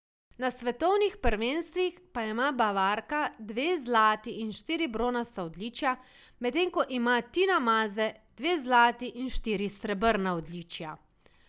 Na svetovnih prvenstvih pa ima Bavarka dve zlati in štiri bronasta odličja, medtem ko ima Tina Maze dve zlati in štiri srebrna odličja.